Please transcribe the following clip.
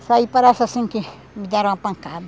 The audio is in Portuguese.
Isso aí parece assim que me deram uma pancada.